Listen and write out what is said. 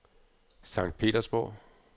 Sankt Petersborg